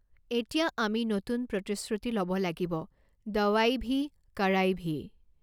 এতিয়া আমি নতুন প্ৰতিশ্ৰুতি ল'ব লাগিব দৱাই ভী, কড়াই ভী!